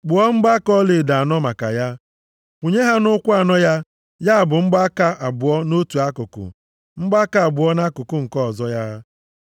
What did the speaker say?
Kpụọ mgbaaka ọlaedo anọ maka ya, kwụnye ha nʼụkwụ anọ ya, ya bụ mgbaaka abụọ nʼotu akụkụ, mgbaaka abụọ nʼakụkụ nke ọzọ ya